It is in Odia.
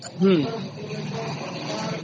ହଁ